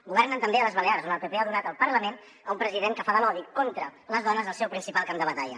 governen també a les balears on el pp ha donat el parlament a un president que fa de l’odi contra les dones el seu principal camp de batalla